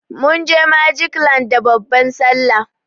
Munje magic land da babban sallah.